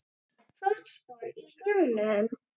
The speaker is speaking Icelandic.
Fótspor í snjónum.